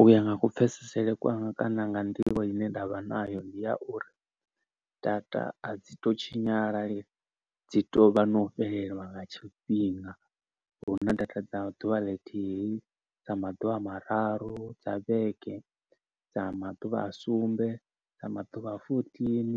U ya nga ku pfesese kwanga kana nga nḓivho ine ndavha nayo ndi ya uri data a dzi to tshinyala dzi to vha no fhelelwa nga tshifhinga. Huna data dza ḓuvha ḽithihi dza maḓuvha mararu dza vhege dza maḓuvha a sumbe dza maḓuvha a fourteen